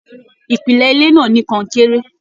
Ìpìlẹ ilé náà ní konkere.